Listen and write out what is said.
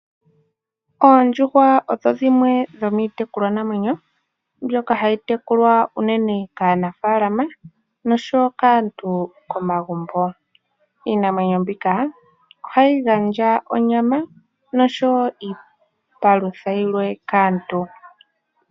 Oondjuhwa odho dhimwe dhomitekulwa naamwenyo mbyoka hayi tekulwa unene kaanafalama noshowo kaantu komagumbo. Iinamwenyo mbika ohayi gandja onyama noshowo iipalutha yilwe kaantu.